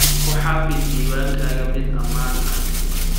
Ku xafid diiwaankaaga mid ammaan ah.